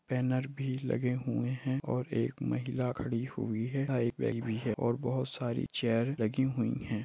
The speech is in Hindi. बैनर भी लगे हुए है और एक महिला खड़ी हुई है है और बहुत सारे चेयर लगी हुई है ।